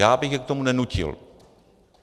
Já bych je k tomu nenutil.